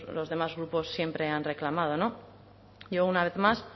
los demás grupos siempre han reclamado no yo una vez más